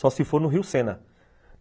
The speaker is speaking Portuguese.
Só se for no Rio Sena.